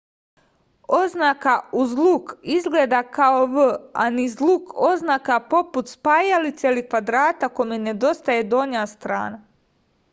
oznaka uz luk izgleda kao v a niz luk oznaka poput spajalice ili kvadrata kome nedostaje donja strana